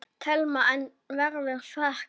Telma: En verður fækkað?